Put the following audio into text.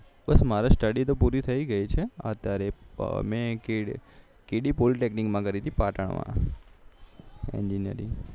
મારે study તો પૂરી થઇ ગઈ છે અત્યારે કે ડી પોલિટેકનીકમાં કરી હતી પાટણ